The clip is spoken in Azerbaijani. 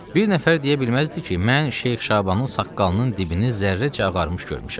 Bir nəfər deyə bilməzdi ki, mən Şeyx Şabanın saqqalının dibini zərrəcə ağarmış görmüşəm.